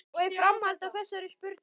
Og í framhaldi af þessari spurningu